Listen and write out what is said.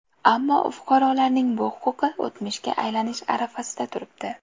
Ammo fuqarolarning bu huquqi o‘tmishga aylanish arafasida turibdi.